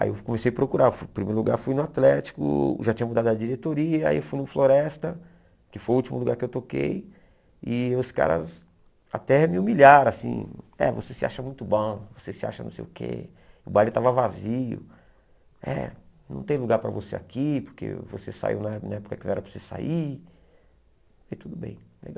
Aí eu comecei a procurar, fui primeiro lugar fui no Atlético, já tinha mudado a diretoria, aí eu fui no Floresta, que foi o último lugar que eu toquei, e os caras até me humilharam, assim, é, você se acha muito bom, você se acha não sei o quê, o baile estava vazio, é, não tem lugar para você aqui, porque você saiu na na época que não era para você sair, e tudo bem, legal.